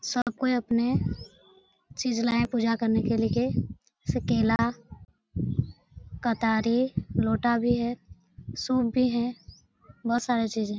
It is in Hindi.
सब कोई अपने चीज लाया पूजा करने के लिए जैसे केला कटारी लौटा भी है सूप भी है बहोत सारे चीजें --